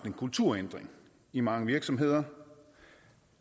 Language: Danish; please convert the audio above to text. en kulturændring i mange virksomheder